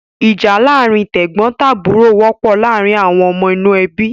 Ìjà láàárin tẹ̀gbọ́ntàbúrò wọ́pọ̀ láàárin àwọn ọmọ inú ẹbí.